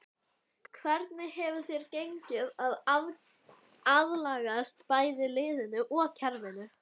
Hvernig hefur þér gengið að aðlagast bæði liðinu og kerfinu?